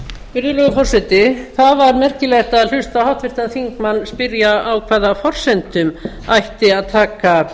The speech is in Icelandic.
virðulegur forseti það var merkilegt að hlusta á háttvirtan þingmann spyrja á hvaða forsendum ætti að taka